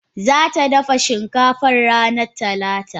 Zata dafa shinkafa ranar talata.